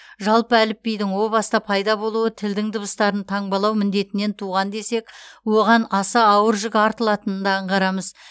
жалпы әліпбидің о баста пайда болуы тілдің дыбыстарын таңбалау міндетінен туған десек оған аса ауыр жүк артылатынын да аңғарамыз